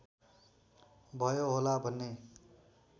भयो होला भन्ने